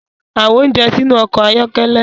Fi awọn ounjẹ sinu ọkọ ayọkẹlẹ